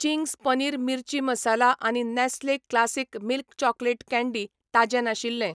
Ching's paneer मिरची मसाला आनी Nestle classic milk chocolate candy ताजें नाशिल्ले.